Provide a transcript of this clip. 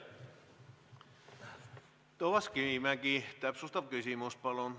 Toomas Kivimägi, täpsustav küsimus, palun!